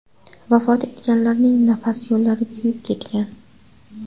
Vafot etganlarning nafas yo‘llari kuyib ketgan.